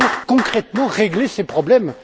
Nous devons concrètement régler ces problèmes.